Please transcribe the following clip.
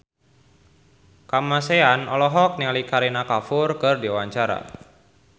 Kamasean olohok ningali Kareena Kapoor keur diwawancara